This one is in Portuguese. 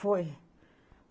Foi.